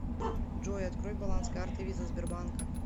джой открой баланс карты виза сбербанка